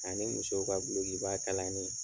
Ani musow ka gulokiba kalani.